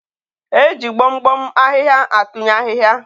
e ji gbom gbom ahịhịa atụnye ahịhịa.